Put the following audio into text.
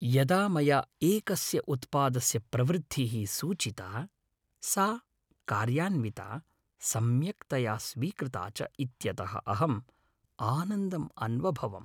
यदा मया एकस्य उत्पादस्य प्रवृद्धिः सूचिता, सा कार्यान्विता, सम्यक्तया स्वीकृता च इत्यतः अहं आनन्दम् अन्वभवम्।